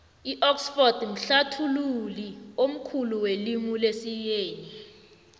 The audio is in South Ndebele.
idxford mhlathului omkhulu welimu lesiyeni